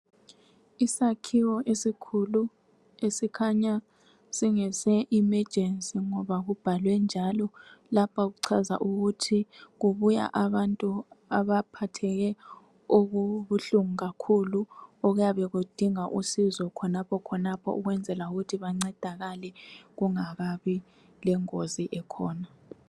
Isakhiwo esikhulu esikhanya singese imejensi ngoba kubhalwe njalo lapha kuchaza ukuthi kubuya abantu abaphatheke okubuhlungu kakhulu okuyabe kudinga usizo khonapho khonapho ukwenzela ukuthi bancedakale kungakabi lengozi ekhona